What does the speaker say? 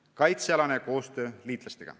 Nüüd kaitsealasest koostööst liitlastega.